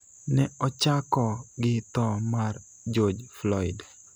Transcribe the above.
ne ochako gi tho mar George Floyd,